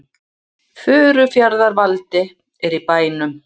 Furufjarðar-Valdi er í bænum.